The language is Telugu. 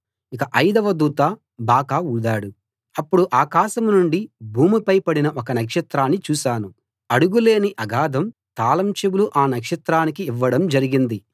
ఇక ఐదవ దూత బాకా ఊదాడు అప్పుడు ఆకాశం నుండి భూమిపై పడిన ఒక నక్షత్రాన్ని చూశాను అడుగు లేని అగాధం తాళం చెవులు ఆ నక్షత్రానికి ఇవ్వడం జరిగింది